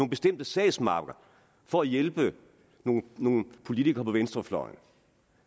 bestemte sagsmapper for at hjælpe nogle nogle politikere på venstrefløjen